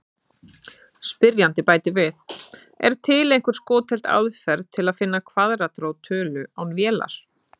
Spyrjandi bætir við: Er til einhver skotheld aðferð til að finna kvaðratrót tölu án vélar?